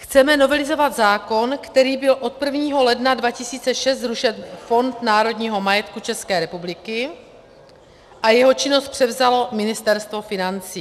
Chceme novelizovat zákon, kterým byl od 1. ledna 2006 zrušen Fond národního majetku České republiky a jeho činnost převzalo Ministerstvo financí.